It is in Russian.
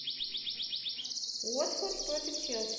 уотфорд против челси